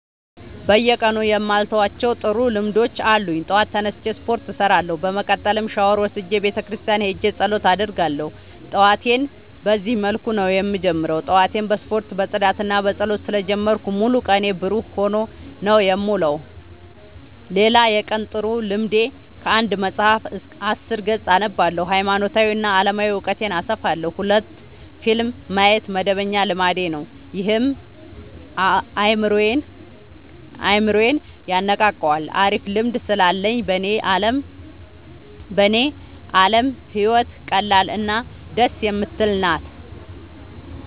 በየቀኑ የማልተዋቸው ጥሩ ልምዶች አሉኝ ጠዋት ተነስቼ ስፓርት እሰራለሁ። በመቀጠልም ሻውር ወስጄ ቤተክርስቲያን ሄጄ ፀሎት አደርጋለሁ ጠዋቴን በዚህ መልኩ ነው የምጀምረው። ጠዋቴን በስፖርት በፅዳትና በፀሎት ስለ ጀመርኩት ሙሉ ቀኔ ብሩህ ሆኖ ነው የምውለው። ሌላ የቀን ጥሩ ልምዴ ከአንድ መፀሀፍ አስር ገፅ አነባለሁ ሀይማኖታዊ እና አለማዊ እውቀቴን አሰፋለሁ። ሁለት ፊልም ማየት መደበኛ ልማዴ ነው ይህም አይምሮዬን የነቃቃዋል አሪፍ ልምድ ስላለኝ በኔ አለም ህይወት ቀላል እና ደስ የምትል ናት።